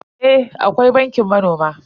Eh akwai bankin manoma.